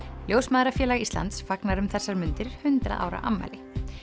ljósmæðrafélag Íslands fagnar um þessar mundir hundrað ára afmæli